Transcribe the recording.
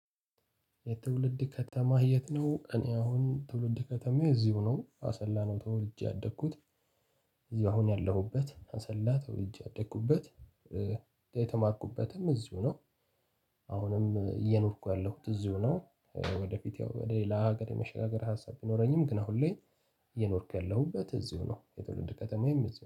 የትውልድ ከተማህ የት ነው? እኔ አሁን ትውልድ ከተማዬ እዚሁ ነው አሰላ ነው ተወልጄ ያደግኩት እዚህ አሁን ያለሁበት አሰላ ተወልጄ ያደኩበት። የተማርኩበትም እዚሁ ነው። አሁንም እየኖርኩ ያለሁት እዚሁ ነው። ወደፊት ወደ ሌላ ሀገር የመሸጋገሪ ሀሳብ ቢኖረኝም ግን አሁን ላይ እየኖርኩ ያለሁበት እዚሁ ነው። የትውልድ ከተማዬም እዚሁ